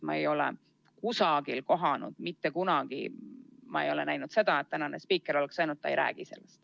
Ma ei ole kusagil kohanud ega mitte kunagi näinud seda, et meie spiiker oleks öelnud, et ta ei räägi sellest.